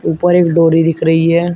ऊपर एक डोरी दिख रही है।